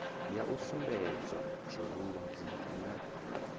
ya u sumbedzwa tshirunzi na